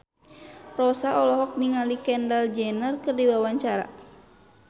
Rossa olohok ningali Kendall Jenner keur diwawancara